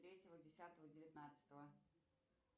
третьего десятого девятнадцатого